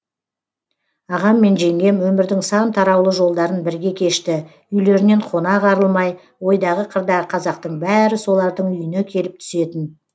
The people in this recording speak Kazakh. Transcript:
ағам мен жеңгем өмірдің сан тараулы жолдарын бірге кешті үйлерінен қонақ арылмай ойдағы қырдағы қазақтың бәрі солардың үйіне келіп түсетін